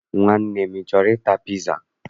Nwanne m, ị chọrọ ịta piza?